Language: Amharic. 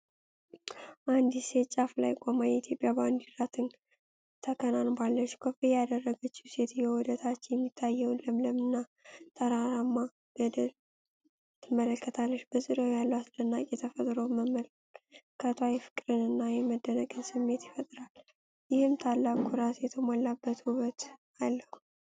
አንዲት ሴት ጫፉ ላይ ቆማ የኢትዮጵያን ባንዲራ ተከናንባለች። ኮፍያ ያደረገችው ሴትየዋ ወደ ታች የሚታየውን ለምለምና ተራራማ ገደል ትመለከታለች። በዙሪያው ያለውን አስደናቂ ተፈጥሮ መመልከቷ የፍቅርን እና የመደነቅን ስሜት ይፈጥራል፤ ይህም ታላቅ ኩራት የተሞላበት ውበት አለው።